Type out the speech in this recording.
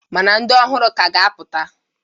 Ma na ndị ọhụrụ k'a ga-apụta.